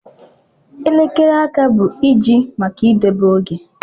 Elekere áká bụ iji maka idobe oge.